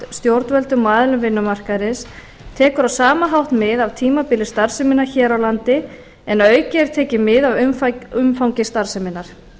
stjórnvöldum og aðilum vinnumarkaðarins tekur á sama hátt mið af tímabili starfseminnar hér á landi en að auki er tekið mið af umfangi starfseminnar